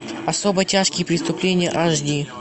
особо тяжкие преступления аш ди